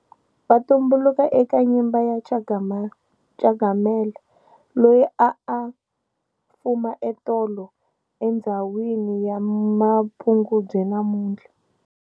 Va tumbuluka eka Nyimba ya Changamire, Cangamela, Loyi aa a fuma etolo andzhawini ya Mapungubwe namuntlha.